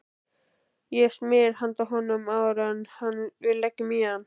Ég smyr handa honum áður en við leggjum í hann.